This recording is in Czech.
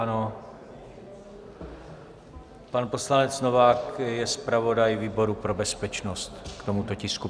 Ano, pan poslanec Novák je zpravodaj výboru pro bezpečnost k tomuto tisku.